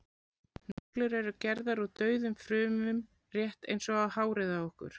neglur eru gerðar úr dauðum frumum rétt eins og hárið á okkur